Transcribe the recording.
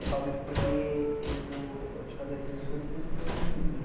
Eu falo isso porque eu eu eu tive uma adolescência que eu não pude ter o que eu queria.